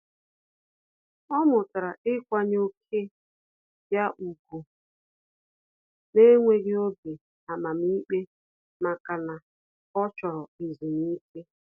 Ọ́ mụ́tàrà íkwànyé ókè ya ùgwù n’énwéghị́ obi amamikpe màkà na ọ́ chọ́rọ́ ezumike.